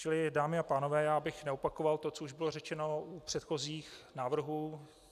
Čili dámy a pánové, já bych neopakoval to, co už bylo řečeno u předchozích návrhů.